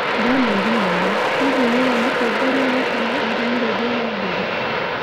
Daniel Moi: Hihi nĩũĩ mũtongoria wa tene arĩ mũrĩithia wa mbũri.